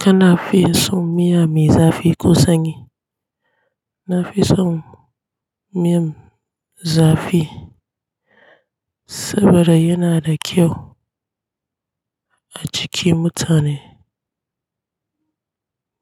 Kana fi son miya me zafi ko sanyi? Na fi son miyan zafi saboda yana da kyau a jikin mutane,